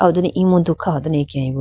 aliho done emudu kha ho dane akeyayi bo.